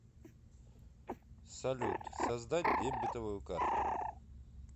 салют создать дебетовую карту